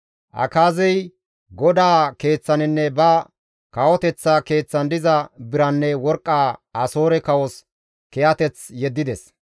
Akaazey GODAA Keeththaninne ba kawoteththa keeththan diza biranne worqqa Asoore kawos kiyateth yeddides.